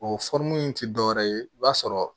O in ti dɔwɛrɛ ye i b'a sɔrɔ